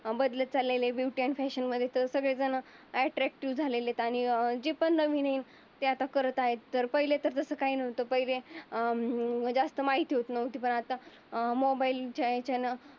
बदलत चाललेले आहे. ब्युटी आणि फॅशन मध्ये तर ट्रॅक्टाकटीव झालेत आणि जे पण नवीन येईन. ते आता करत आहे पहिले तर तसं काही नव्हतं. अं जास्त माहितीच नव्हती. पण आता अं मोबाईलच्या याच्या न